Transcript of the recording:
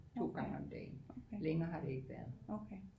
To gange om dagen længere har det ikke været